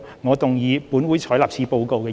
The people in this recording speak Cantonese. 我動議"本會採納此報告"的議案。